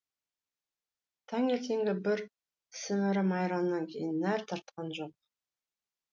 таңертеңгі бір сімірім айраннан кейін нәр татқан жоқ